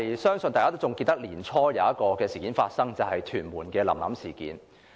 相信大家也記得年初在屯門發生的"臨臨事件"。